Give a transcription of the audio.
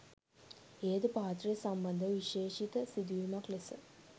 එයද පාත්‍රය සම්බන්ධව විශේෂිත සිදුවීමක් ලෙස